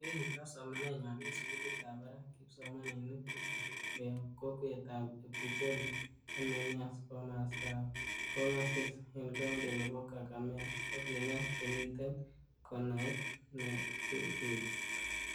Yekin koges somanenywan en sugulitab barak, kipsomaninik tisap koyob kokwetab Ebubole en Mumias komostab Kongasis, en coundi nebo Kakamega kokinyas komiten konait nekuchuch.